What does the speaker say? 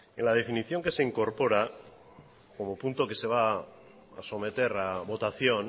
en la definición que se incorpora como punto que se va a someter a votación